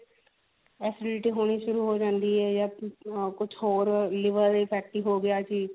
acidity ਹੋਣੀ ਸ਼ੁਰੂ ਹੋ ਜਾਂਦੀ ਹੈ ਯਾ hm ਕੁਛ ਹੋਰ liver fatty ਹੋ ਗਿਆ ਜੀ